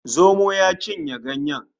Zomo ya cinye ganyen